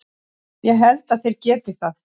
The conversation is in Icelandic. Ég held að þeir geti það.